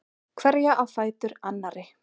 Hverja á fætur annarri.